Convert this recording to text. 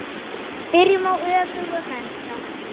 Byrjum á öfugum enda.